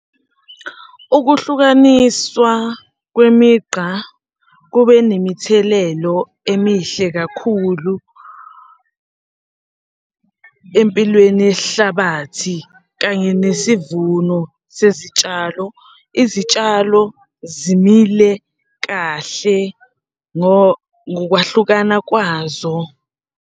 Ukuhlukaniswa kwemigqa kube nemithelelo emihle kakhulu empilweni yesihlabathi kanye nesivuno sezitshalo. Izitshalo zimile kahle ngokwahlukana kwazo.